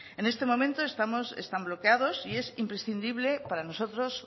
en este momento están bloqueados y es imprescindible para nosotros